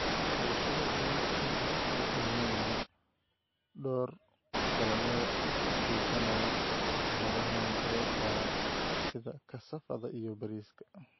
"Xulashada Dalagga Inta lagu jiro El Niño, door dalagyada u adkeysanaya fatahaadaha muddada gaaban, sida kasaafada iyo bariiska."